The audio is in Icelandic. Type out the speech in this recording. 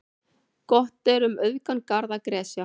Gott er um auðugan garð að gresja.